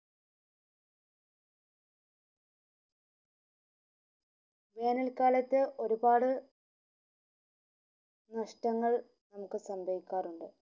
വേനൽ കാലത് ഒരുപാട് നഷ്ടങ്ങൾ നമ്മുക് സമ്പയ്ക്കാറുണ്ട്